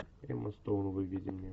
эмма стоун выведи мне